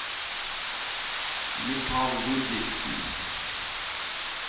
Michael Ludvigsen